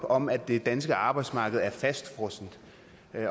om at det danske arbejdsmarked er fastfrosset